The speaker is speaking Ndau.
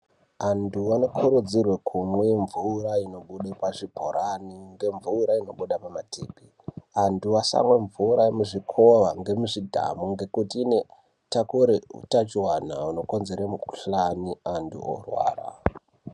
Antu anokurudzirwe kumwe mvura ino bude pa zvibhorani nge mvura inobuda pa matepi antu asamwe mvura mu zvikowa nge muzvi dhamu ngekuti ino takure utachiwana huno konzere mu kuhlani antu orwara.